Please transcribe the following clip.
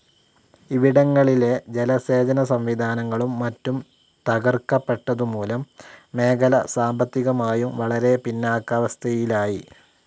ഇവിടങ്ങളിലെ ജലസേചനസംവിധാനങ്ങളും മറ്റും തകർക്കപ്പെട്ടതുമൂലം മേഖല സാമ്പത്തികമായും വളരെ പിന്നാക്കാവസ്ഥയിലായി.